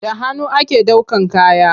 Da hannu ake ɗaukan kaya.